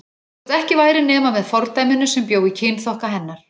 Þótt ekki væri nema með fordæminu sem bjó í kynþokka hennar.